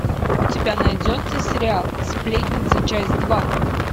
у тебя найдется сериал сплетница часть два